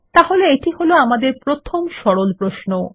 তাহলে এটি হল আমাদের প্রথম সরল প্রশ্ন160